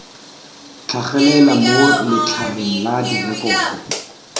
tlhagelela mo letlhareng la direkoto